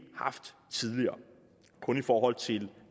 haft tidligere kun i forhold til